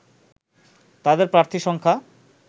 তাদের প্রার্থী সংখ্যা